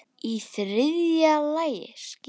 Í þriðja lagi skyldi